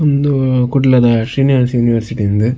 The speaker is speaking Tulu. ಉಂದು ಕುಡ್ಲದ ಶ್ರೀನಿವಾಸ್ ಯೂನಿವರ್ಸಿಟಿ ಉಂದು.